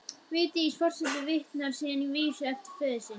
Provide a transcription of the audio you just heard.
Vigdís forseti vitnar síðan í vísu eftir föður sinn: